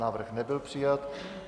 Návrh nebyl přijat.